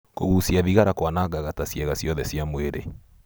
Kũgicia thigara kwanagaga ta ciega ciothe cia mwĩrĩ.